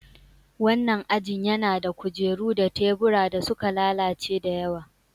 Wannan ajin yana da kujeru da tebura da suka lalace da yawa.